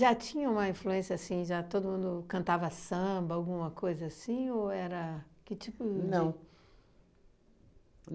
Já tinha uma influência assim, já todo mundo cantava samba, alguma coisa assim, ou era que tipo de... Não.